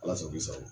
Ala sago i sago